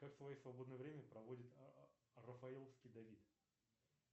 как свое свободное время проводит рафаловский давид